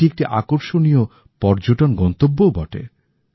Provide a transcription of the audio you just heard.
এটি একটি আকর্ষণীয় পর্যটন গন্তব্য ও বটে